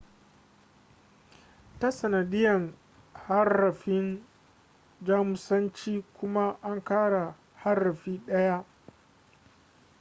ta sanadiyar harafin jamusanci kuma an ƙara harafi ɗaya õ / õ